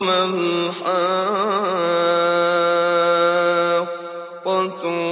مَا الْحَاقَّةُ